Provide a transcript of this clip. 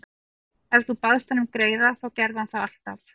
Ef þú baðst hann um greiða þá gerði hann það alltaf.